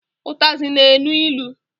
Ụtazị na-enu ilu.